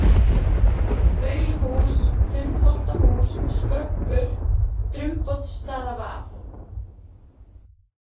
Bauluhús, Þunnholtahús, Skröggur, Drumboddsstaðavað